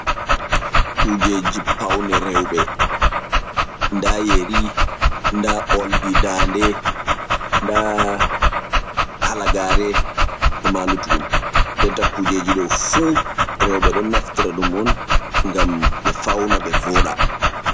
Kujeji paune rewbe da yeri da oldi dande da halagare e ma lutudum denta kujeji dow fu rewbe don naftira dum on gam be fauna be voda.